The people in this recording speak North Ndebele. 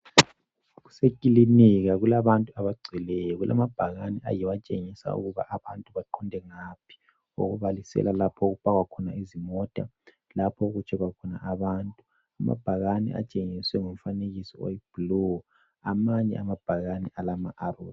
Kuselinika kulabantu abagcweleyo kulabhakane ayiwo atshengisa ukuba abantu baqonde ngaphi. Okubalisela lapho okupakwa khona izimota, lalapho okutshekhwa khona abantu. Amabhakane atshengiswe ngomfanekiso oyiblue. Amanye amabhakane alama arrows.